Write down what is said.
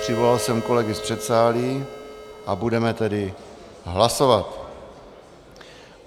Přivolal jsem kolegy z předsálí a budeme tedy hlasovat.